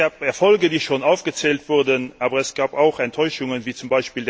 Es gab Erfolge, die schon aufgezählt wurden, aber es gab auch Enttäuschungen, z.